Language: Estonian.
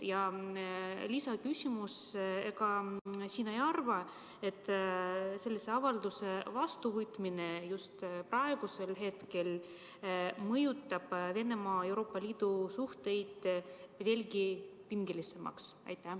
Ja lisaküsimus: kas sa ei arva, et sellise avalduse vastuvõtmine just praegusel hetkel muudab Venemaa ja Euroopa Liidu suhted veelgi pingelisemaks?